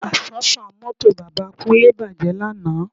Àsọ́fà mọ́tò bàbá Kúnlé bàjẹ́ lánàá